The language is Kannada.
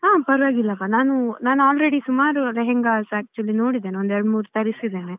ಹಾ ಪರ್ವಾಗಿಲ್ಲಾಪ ನಾನ್ ನಾನು already ಸುಮಾರ್ lehengas actually ನೋಡಿದ್ದೇನೆ ಒಂದು ಎರಡ್ ಮೂರ್ ತರಿಸಿದ್ದೇನೆ .